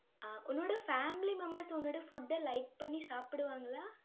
ஆஹ் உன்னோட family members உன்னோட food அ like பண்ணி சாப்பிடுவாங்களா?